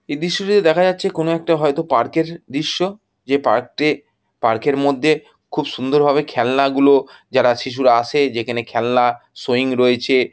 এ দৃশ্যটিতে দেখা যাচ্ছে কোনো একটা হয়তো পার্ক -এর দৃশ্য। যে পার্ক -টে পার্ক -এর মধ্যে খুব সুন্দর ভাবে খেলনা গুলো যারা শিশুরা আসে যেখানে খেলনা শোয়িং রয়েছে।